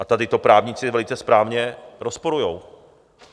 A tady to právníci velice správně rozporují.